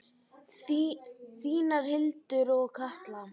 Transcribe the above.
Þínar Hildur og Katla.